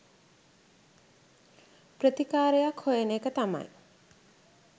ප්‍රතිකාරයක් හොයන එක තමයි